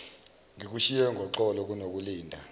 ngikushiye ngoxolo kunokulinda